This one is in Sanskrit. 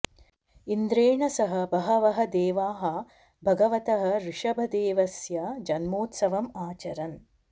इन्द्रेण सह बहवः देवाः भगवतः ऋषभदेवस्य जन्मोत्सवम् आचरन्